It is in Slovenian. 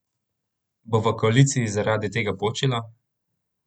Bo v koaliciji zaradi tega počilo?